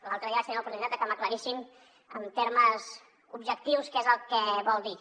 l’altre dia vaig tenir l’oportunitat de que m’aclarissin en termes objectius què és el que vol dir